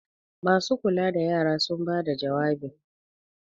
masu kula da yara sun bada jawabi!